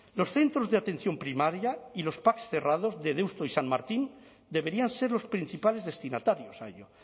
los centros de atención primaria y los pac cerrados de deusto y san martín deberían ser los principales destinatarios a ello